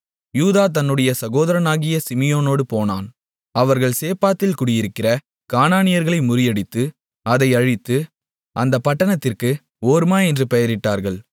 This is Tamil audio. யூதா தன்னுடைய சகோதரனாகிய சிமியோனோடு போனான் அவர்கள் சேப்பாத்தில் குடியிருக்கிற கானானியர்களை முறியடித்து அதை அழித்து அந்தப் பட்டணத்திற்கு ஓர்மா என்று பெயரிட்டார்கள்